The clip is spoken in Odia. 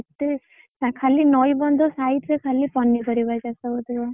ଖାଲି ନଇ ବନ୍ଧ side ରେ ଖାଲି ପନିପରିବା ଚାଷ ହେଉଥିବ।